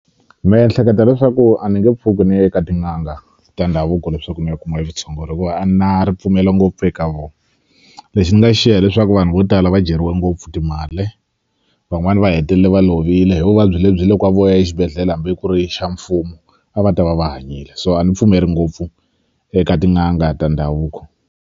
Me hleketa leswaku a ni nge pfuki ni ye ka tin'anga ta ndhavuko leswaku ni ya kuma e vutshunguri hikuva a ni na ripfumelo ngopfu eka vo lexi ni nga xiya hileswaku vanhu vo tala va dyeriwe ngopfu timale van'wani va hetelele va lovile hi vuvabyi lebyi loko a vo ya exibedhlele hambi ku ri xa mfumo a va ta va va hanyile so a ni pfumeli ngopfu eka tin'anga ta ndhavuko.